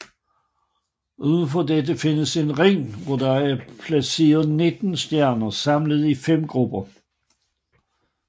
Udenfor dette findes en ring hvor der er placeret nitten stjerner samlet i fem grupper